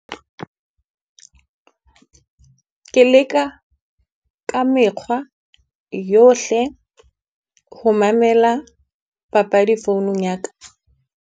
Ke leka ka mekgwa yohle ho mamela papadi founung ya ka.